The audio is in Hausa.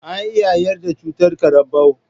An iya yaɗa cutar karambau